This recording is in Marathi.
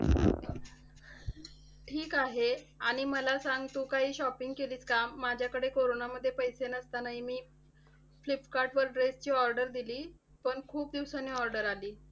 ठीक आहे. आणि मला सांग तू काही shopping केलीस का? माझ्याकडे कोरोनामध्ये पैसे नसतानाही मी फ्लिपकार्टवर dress ची order दिली, पण खूप दिवसांनी order आली.